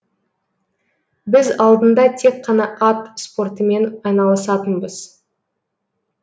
біз алдында тек қана ат спортымен айналысатынбыз